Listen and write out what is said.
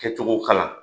Kɛcogo kana